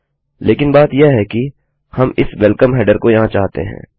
लेकिन बात यह है कि हम इस वेल्कम हेडर को यहाँ चाहते हैं